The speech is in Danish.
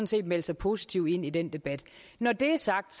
set melde sig positivt ind i den debat når det er sagt